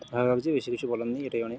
ভালো লাগছে বেশি কিছু বলার নেই এটাই অনেক।